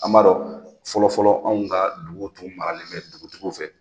A m'a dɔn fɔlɔfɔlɔ anw ka duguw tun maralen bɛ dugutigiw fɛ